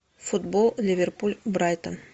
футбол ливерпуль брайтон